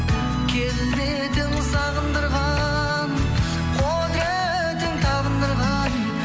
келбетің сағындырған құдыретің табындырған